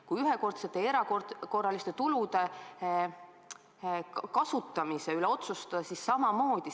Kui ühekordsete ja erakorraliste tulude kasutamise üle otsustada, siis samamoodi.